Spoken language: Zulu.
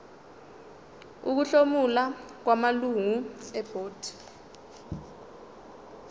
ukuhlomula kwamalungu ebhodi